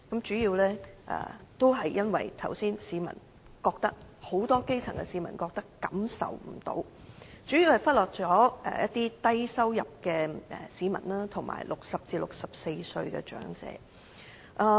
主要原因是正如我剛才所說，很多基層市民不感到受惠，主要是預算案忽略了低收入市民，以及60歲至64歲的長者。